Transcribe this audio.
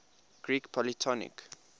greek polytonic